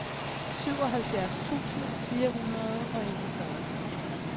syvoghalvfjerds tusind fire hundrede og enogfyrre